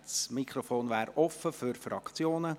Das Mikrofon ist offen für die Fraktionen.